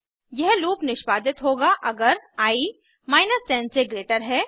यह लूप निष्पादित होगा अगर आई 10 से ग्रेटर है